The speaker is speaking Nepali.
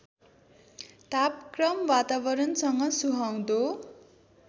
तापक्रम वातावरणसँग सुहाउँदो